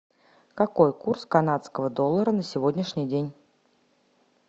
какой курс канадского доллара на сегодняшний день